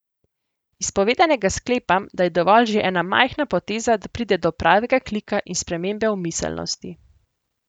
Iz povedanega sklepam, da je dovolj že ena majhna poteza, da pride do pravega klika in spremembe v miselnosti.